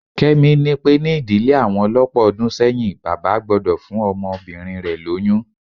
Kẹ́mi ni pé ní ìdílé àwọn lọ́pọ̀ ọdún sẹ́yìn, bàbá gbọ́dọ̀ fún ọmọbìnrin rẹ lóyún